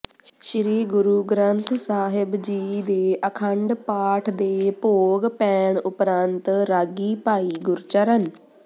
ਸ੍ਰੀ ਗੁਰੂ ਗ੍ੰਥ ਸਾਹਿਬ ਜੀ ਦੇ ਅਖੰਡ ਪਾਠ ਦੇ ਭੋਗ ਪੈਣ ਉਪਰੰਤ ਰਾਗੀ ਭਾਈ ਗੁਰਚਰਨ